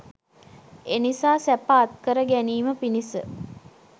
එනිසා සැප අත්කර ගැනීම පිණිස